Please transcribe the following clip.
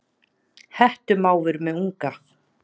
Hettumávur með unga.